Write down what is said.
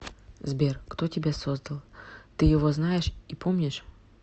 сбер кто тебя создал ты его знаешь и помнишь